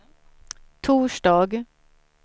torsdag